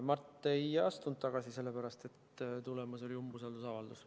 Mart ei astunud tagasi sellepärast, et tulemas oli umbusaldusavaldus.